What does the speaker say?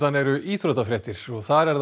eru íþróttafréttir og það er